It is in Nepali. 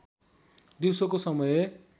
दिउसोको समय